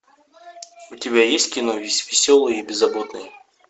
у тебя есть кино веселые и беззаботные